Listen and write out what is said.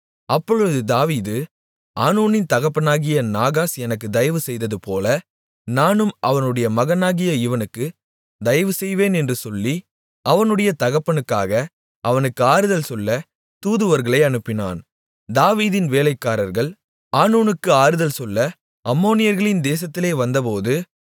அப்பொழுது தாவீது ஆனூனின் தகப்பனாகிய நாகாஸ் எனக்கு தயவு செய்ததுபோல நானும் அவனுடைய மகனாகிய இவனுக்கு தயவுசெய்வேன் என்று சொல்லி அவனுடைய தகப்பனுக்காக அவனுக்கு ஆறுதல் சொல்ல தூதுவர்களை அனுப்பினான் தாவீதின் வேலைக்காரர்கள் ஆனூனுக்கு ஆறுதல் சொல்ல அம்மோனியர்களின் தேசத்திலே வந்தபோது